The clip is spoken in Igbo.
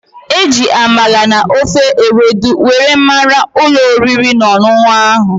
E ji Amala na ofe Ewedu were mara ulo oriri na onunu ahu